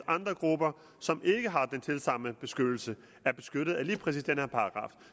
andre grupper som ikke har en tilsvarende beskyttelse er beskyttet af lige præcis den her paragraf